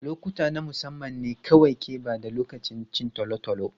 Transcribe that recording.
Lokuta na musamman ne kawai ke ba da tabbacin cin tolotolo.